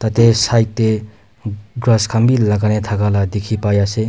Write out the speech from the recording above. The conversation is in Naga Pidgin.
Tate side teh grass khan bhi lagai na thaka la dikhi pai ase.